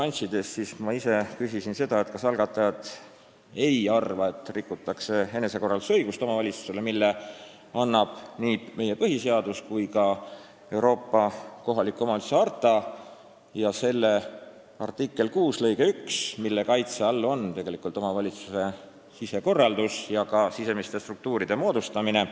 Erinevates nüanssides küsisin ma seda, kas algatajad ei arva, et seaduseelnõuga rikutakse omavalitsuste enesekorraldusõigust, mille annab nii meie põhiseadus kui ka Euroopa kohaliku omavalitsuse harta ja selle artikli 6 lõige 1, mille kaitse all on tegelikult omavalitsuse sisekorraldus ja ka sisemiste struktuuride moodustamine.